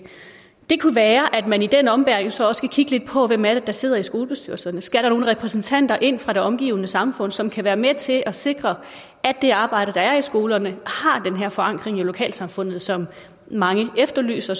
det kunne være at man i den ombæring så også skulle kigge lidt på hvem er det der sidder i skolebestyrelserne skal der nogle repræsentanter ind fra det omgivende samfund som kan være med til at sikre at det arbejde der er i skolerne har den her forankring i lokalsamfundet som mange efterlyser